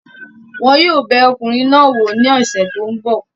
Wọn yóò bẹ ọkùnrin náà wò ní ọ̀sẹ̀ tí ó ń bọ̀